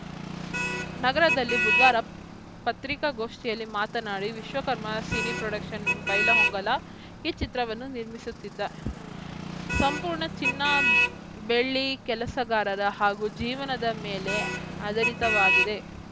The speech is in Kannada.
ನಗರದಲ್ಲಿ ಬುಧವಾರ ಪತ್ರಿಕಾಗೋಷ್ಠಿಯಲ್ಲಿ ಮಾತನಾಡಿ ವಿಶ್ವಕರ್ಮ ಸಿನಿ ಪ್ರೊಡಕ್ಷನ್‌ ಬೈಲಹೊಂಗಲ ಈ ಚಿತ್ರವನ್ನು ನಿರ್ಮಿಸುತ್ತಿದ್ದ ಸಂಪೂರ್ಣ ಚಿನ್ನ ಬೆಳ್ಳಿ ಕೆಲಸಗಾರರ ಹಾಗೂ ಜೀವನದ ಮೇಲೆ ಆಧಾರಿತವಾಗಿದೆ